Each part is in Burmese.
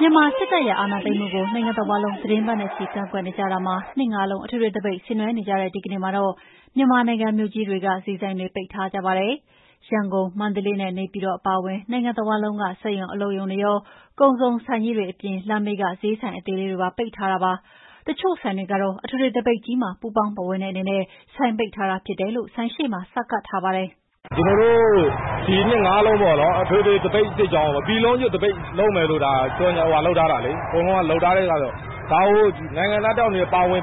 မြန်မာစစ်တပ်ရဲ့ အာဏာသိမ်းမှုကို နိုင်ငံတဝှမ်းလုံး သီတင်းပတ်နဲ့ချီ ကန့်ကွက်နေကြတာမှာ ၂ ငါးလုံးအထွေထွေ သပိတ်ဆင်နွှဲနေကြတဲ့ ဒီကနေ့မှာတော့ မြန်မာနိုင်ငံမြို့ကြီးတွေက ဈေးဆိုင်တွေလည်း ပိတ်ထားကြပါတယ်။ ရန်ကုန်၊ မန္တလေးနဲ့ နေပြည်တော်အပါအဝင် နိုင်ငံတဝှမ်းလုံးက စက်ရုံ၊ အလုပ်ရုံတွေရော၊ ကုန်စုံဆိုင်ကြီးတွေရော လမ်းဘေးက ဈေးဆိုင်အသေးလေးတွေပါ ပိတ်ထားပါတယ်။ တချို့ဆိုင်တွေကတော့ အထွေထွေသပိတ်ကြီးမှာ ပူးပေါင်းပါဝင်တဲ့အနေနဲ့ ဆိုင်ပိတ်ထားတာဖြစ်တယ်လို့ ဆိုင်ရှေ့မှာ စာကပ်ထားကြပါတယ်။ "ကျနော်တို့ ဒီ ၂ ငါးလုံး အထွေထွေ သပိတ် စစ်ကြောင်းကို ပြည်လုံးကျွတ်လုပ်မယ်လို့ အကုန်လုံးက လုပ်ထားတာလေ။ ဒါကို နိုင်ငံသားတယောက်အနေနဲ့ ပါဝင်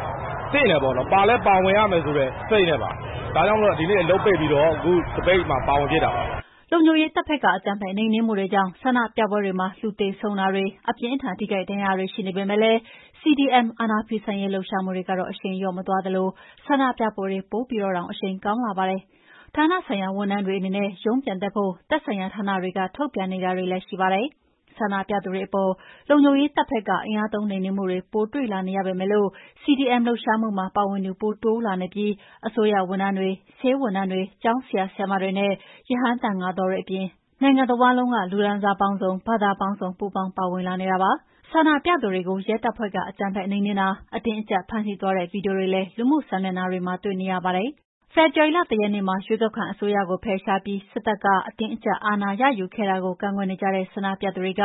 သင့်တယ်ပေါ့နော်။ ပါလည်းပါဝင်ရမယ်ဆိုတဲ့စိတ်နဲ့ပါ။ ဒါကြောင့်မို့လို့ ဒီနေ့အလုပ်ပိတ်ပြီးတော့ အခု သပိတ်မှာ ပါဝင်ဖြစ်တာပါဗျ။" လုံခြုံရေးတပ်ဘက်က အကြမ်းဖက်နှိမ်နင်းမှုတွေကြောင့် ဆန္ဒပြပွဲတွေမှာ လူသေဆုံးတာတေ၊ အပြင်းအထန်ထိခိုက်ဒဏ်ရာရတာတွေ ရှိနေပေမဲ့လည်း CDM အာဏာဖီဆန်ရေးလှုပ်ရှားမှုတွေကတော့ အရှိန်လျော့မသွားသလို ဆန္ဒပြပွဲတွေ ပိုပြီးတော့ အရှိန်ကောင်းလာပါတယ်။ ဌာနဆိုင်ရာဝန်ထမ်းတွေ အနေနဲ့ ရုံးပြန်တက်ဖို့ သက်ဆိုင်ရာဌာကနေ ထုတ်ပြန်နေတာတွေလည်း ရှိနေပါတယ်။ ဆန္ဒပြသူတွေအပေါ် လုံခြုံရေးတပ်ဘက်က အင်အားသုံးနှိမ်နင်းမှုတွေ ပိုတွေ့လာနေရပေမယ့် CDM လှုပ်ရှားမှုမှာ ပါဝင်လာသူ ပိုတိုးလာနေတာဖြစ်ပြီး အစိုးရဝန်ထမ်းတွေ၊ ဆေးဝန်ထမ်းတွေ၊ ကျောင်းဆရာ၊ ဆရာမတွေနဲ့ ရဟန်းသံဃာတော်တွေအပြင် နိုင်ငံတဝန်း လူတန်းစားပေါင်းစုံ၊ ဘာသာပေါင်းစုံ ပူးပေါင်း ပါဝင်လာနေကြပါတယ်။ ဆန္ဒပြသူတွေကို ရဲတပ်ဖွဲ့က အကြမ်းဖက် နှိမ်နင်းတာ၊ အတင်းအကြပ်ဖမ်းဆီးသွားတဲ့ ဗွီဒီယိုတွေလည်း လူမှုစာမျက်နှာတွေမှာ တွေ့နေရပါတယ်။ ဖေဖော်ဝါရီလ ၁ ရက်နေ့မှာ ရွေးကောက်ခံအစိုးရကို ဖယ်ရှားပြီး စစ်တပ်က အတင်းအကြပ်ရယူခဲ့တာကို ကန့်ကွက်နေကြတဲ့ ဆန္ဒပြသူတွေက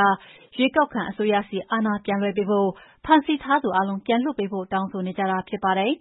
ရွေးကောက်ခံအစိုးရဆီ အာဏာပြန်လွှဲပေးဖို့၊ ဖမ်းဆီးထားသူအားလုံးပြန်လွှတ်ပေးဖို့ တောင်းဆိုနေကြတာဖြစ်ပါတယ်။